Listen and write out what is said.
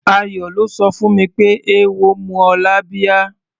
Ayọ̀ ló sọ fún mi pé eéwo mú ọ lábíá.